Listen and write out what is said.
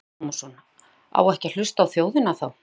Telma Tómasson: Á ekki að hlusta á þjóðina þá?